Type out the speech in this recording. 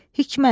Hikmət.